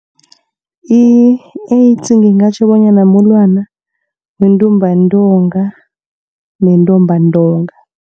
I-AIDS ngingatjho bonyana mulwana wentumbantonga nentumbantonga.